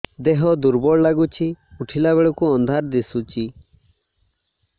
ଦେହ ଦୁର୍ବଳ ଲାଗୁଛି ଉଠିଲା ବେଳକୁ ଅନ୍ଧାର ଦିଶୁଚି